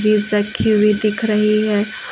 रखी हुई दिख रही है।